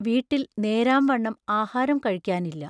വീട്ടിൽ നേരാം വണ്ണം ആഹാരം കഴിക്കാനില്ല.